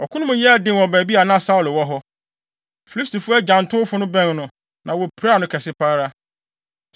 Ɔko no mu yɛɛ den wɔ baabi a na Saulo wɔ hɔ. Filistifo agyantowfo no bɛn no, na wopiraa no kɛse pa ara.